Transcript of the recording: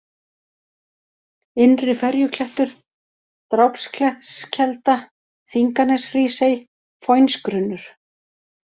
Innri-Ferjuklettur, Drápsklettskelda, Þinganeshrísey, Foynsgrunnur